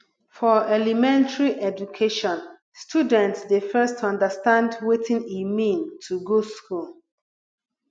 for elementary education student dey first understand wetin e mean to go school